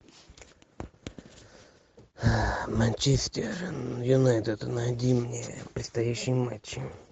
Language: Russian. манчестер юнайтед найди мне предстоящие матчи